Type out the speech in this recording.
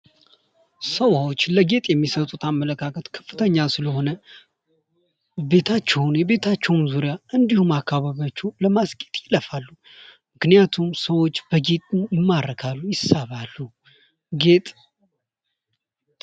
ሰዎች ለጌጥ የሚሰጡት አመለካከት ከፍተኛ ስለሆነ ቤታቸውን የቤታቸውን ዙሪያ እንዲሁም አካባቢያቸውን ለማስጌጥ ይለፋሉ:: ምክንያቱም ሰዎች በጌጡ ይማረካሉ ይሰባሉ ጌጥ ::